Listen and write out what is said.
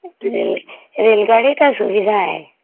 ଏ.. ରେଳଗାଡ଼ି ଟା ସୁବିଧା ଏଁ